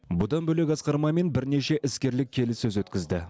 бұдан бөлек асқар мамин бірнеше іскерлік келіссөз өткізді